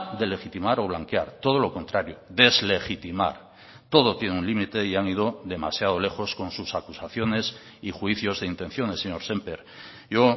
de legitimar o blanquear todo lo contrario deslegitimar todo tiene un límite y han ido demasiado lejos con sus acusaciones y juicios de intenciones señor semper yo